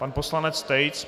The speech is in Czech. Pan poslanec Tejc.